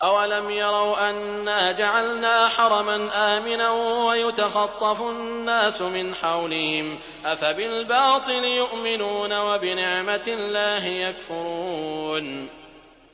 أَوَلَمْ يَرَوْا أَنَّا جَعَلْنَا حَرَمًا آمِنًا وَيُتَخَطَّفُ النَّاسُ مِنْ حَوْلِهِمْ ۚ أَفَبِالْبَاطِلِ يُؤْمِنُونَ وَبِنِعْمَةِ اللَّهِ يَكْفُرُونَ